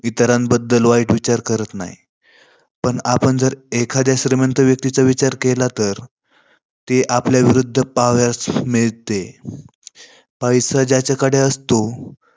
इतरांबद्दल वाईट विचार करत नाही. पण आपण जर श्रीमंत व्यक्तीबद्दल विचार केला, तर ते आपल्या विरुद्ध पाहावयास मिळते. पैसा ज्याच्याकडे असतो